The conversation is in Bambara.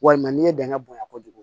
Walima n'i ye dɛngɛ bonyan kojugu